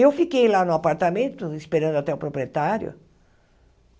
Eu fiquei lá no apartamento esperando até o proprietário.